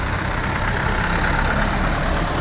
Ay maşın.